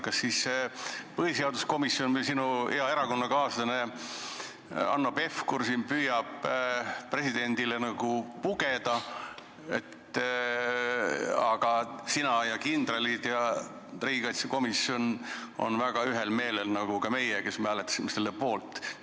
Kas siis põhiseaduskomisjon või sinu hea erakonnakaaslane Hanno Pevkur püüavad presidendile nagu pugeda, aga sina, kindralid ja riigikaitsekomisjon olete väga ühel meelel nagu ka meie, kes me hääletasime selle poolt?